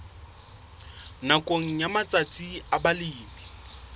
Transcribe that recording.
nakong ya matsatsi a balemi